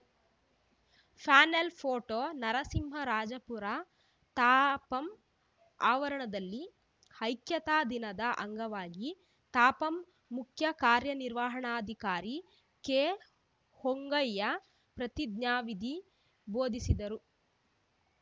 panel photo Narasimharajapura ತಾಪಂ ಆವರಣದಲ್ಲಿ ಐಕ್ಯತಾ ದಿನದ ಅಂಗವಾಗಿ ತಾಪಂ ಮುಖ್ಯ ಕಾರ್ಯನಿರ್ವಹಣಾಧಿಕಾರಿ ಕೆಹೊಂಗಯ್ಯ ಪ್ರತಿಜ್ಞಾ ವಿಧಿ ಬೋಧಿಸಿದರು